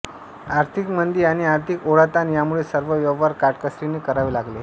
आर्थिक मंदी आणि आर्थिक ओढाताण यांमुळे सर्व व्यवहार काटकसरीने करावे लागले